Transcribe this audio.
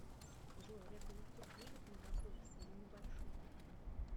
джой олег голубцов любит мегаполисы или небольшие города